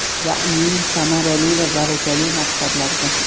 Ya’ni samarali va barakali maqsadlarga.